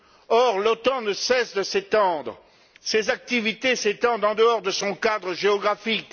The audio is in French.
Or, l'OTAN ne cesse de s'étendre. Ses activités s'étendent en dehors de son cadre géographique.